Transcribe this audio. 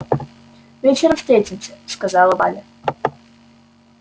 вечером встретимся сказала валя